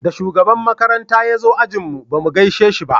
Da shugaban makaranta ya zo ajin mu ba mu gaishe shi ba